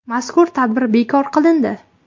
Mazkur tadbir bekor qilindi.